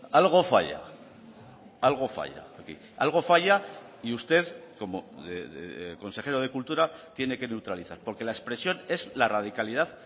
algo falla algo falla aquí algo falla y usted como consejero de cultura tiene que neutralizar porque la expresión es la radicalidad